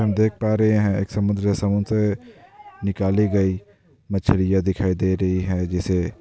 हम देख पा रहे हैं एक समुद्र है समुद्र से निकाली गई मछलियॉ दिखाइ दे रही हैं जिसे --